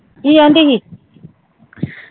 ਕਿ ਕਹਿੰਦੀ ਸੀ